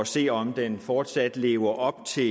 se om den fortsat lever op til